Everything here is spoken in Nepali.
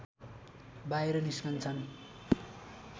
बाहिर निस्कन्छन्